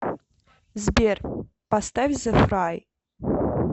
сбер поставь зэ фрай